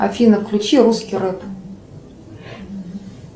афина включи русский рэп